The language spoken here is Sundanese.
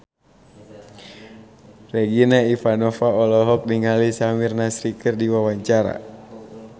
Regina Ivanova olohok ningali Samir Nasri keur diwawancara